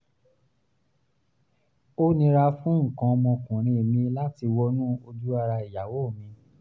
ó nira fún nǹkan ọmọkùnrin mi láti wọnú ojú ara ìyàwó mi